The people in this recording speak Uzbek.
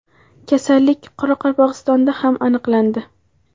Kasallik Qoraqalpog‘istonda ham aniqlandi.